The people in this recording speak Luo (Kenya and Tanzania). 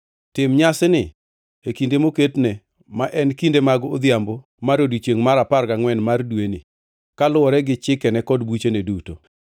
Tim nyasini e kinde moketne, ma en kinde mag odhiambo mar odiechiengʼ mar apar gangʼwen mar dweni, kaluwore gi chikene kod buchene duto.”